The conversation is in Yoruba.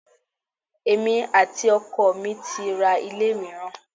Èmi àti ọkọ mi ti ra ilé mìíràn.